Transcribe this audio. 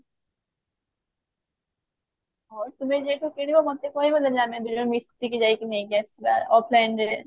ହଁ ତମେ ଯେବେ କିଣିବ ମୋତେ କହିବ ଯଦି ଆମେ ଦି ଜଣ ମିସିକି ଯାଇକି ନେଇକି ଆସିବା offline ରେ